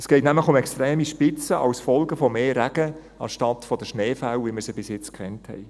Es geht nämlich um extreme Spitzen als Folge von mehr Regen anstelle der Schneefälle, wie wir sie bis jetzt gekannt haben.